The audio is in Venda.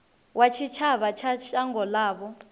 wa tshitshavha wa shango ḽavho